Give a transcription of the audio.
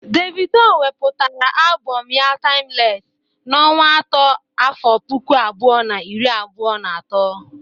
Davido wepụtara abọm ya 'taimles" n'ọnwa atọ n'afọ puku abụọ na iri abụọ na atọ.